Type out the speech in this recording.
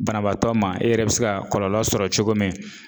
Banabaatɔ ma e yɛrɛ bi se ka kɔlɔlɔ sɔrɔ cogo min